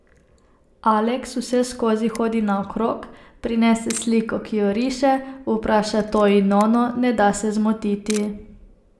Aleks vseskozi hodi naokrog, prinese sliko, ki jo riše, vpraša to in ono, ne da se zmotiti.